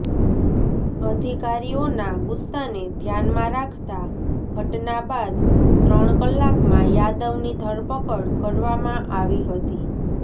અધિકારીઓના ગુસ્સાને ધ્યાનમાં રાખતા ઘટના બાદ ત્રણ કલાકમાં યાદવની ધરપકડ કરવામાં આવી હતી